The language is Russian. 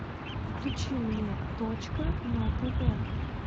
включи мне точка на тв